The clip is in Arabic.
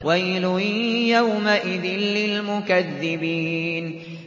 وَيْلٌ يَوْمَئِذٍ لِّلْمُكَذِّبِينَ